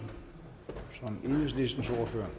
venstre